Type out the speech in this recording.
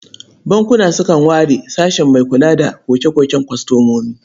Bankuna sukan ware sashe mai kula da koke-koken kwastomomi.